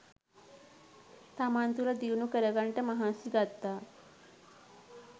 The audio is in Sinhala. තමන් තුළ දියුණු කරගන්නට මහන්සි ගත්තා